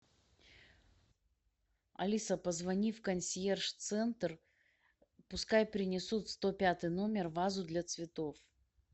алиса позвони в консьерж центр пускай принесут в сто пятый номер вазу для цветов